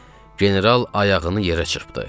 General ayağını yerə çırpdı.